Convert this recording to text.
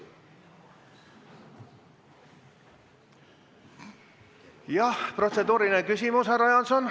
Jah, protseduuriline küsimus, härra Jaanson.